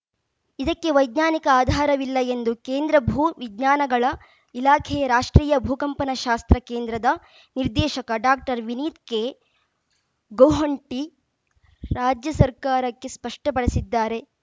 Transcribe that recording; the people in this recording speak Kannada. ಇದಕ್ಕೆ ವೈಜ್ಞಾನಿಕ ಆಧಾರವಿಲ್ಲ ಎಂದು ಕೇಂದ್ರ ಭೂ ವಿಜ್ಞಾನಗಳ ಇಲಾಖೆಯ ರಾಷ್ಟ್ರೀಯ ಭೂಕಂಪನಶಾಸ್ತ್ರ ಕೇಂದ್ರದ ನಿರ್ದೇಶಕ ಡಾಕ್ಟರ್ವಿನೀತ್‌ ಕೆ ಗೋಹೊಂಟಿ ರಾಜ್ಯ ಸರ್ಕಾರಕ್ಕೆ ಸ್ಪಷ್ಟಪಡಿಸಿದ್ದಾರೆ